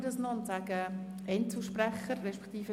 Gibt es noch weitere Fraktionsvoten?